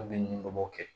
A bɛ ɲini o b'o kɛ